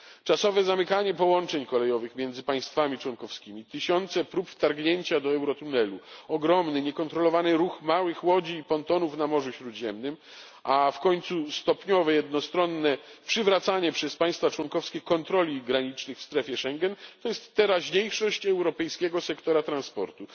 Czasowe zamykanie połączeń kolejowych między państwami członkowskimi, tysiące prób wtargnięcia do Eurotunelu, ogromny niekontrolowany ruch małych łodzi i pontonów na Morzu Śródziemnym, a w końcu stopniowe jednostronne przywracanie przez państwa członkowskie kontroli granicznych w strefie Schengen, to jest teraźniejszość europejskiego sektora transportu.